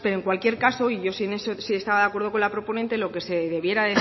pero en cualquier caso y yo en eso sí estaba de acuerdo con la proponente lo que se debiera